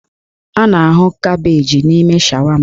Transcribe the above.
A na-ahụ kabeeji n'ime shawama.